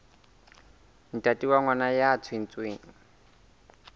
ntate wa ngwana ya tswetsweng